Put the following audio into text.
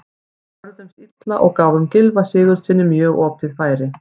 Við vörðumst illa og gáfum Gylfa Sigurðssyni mjög opið færi.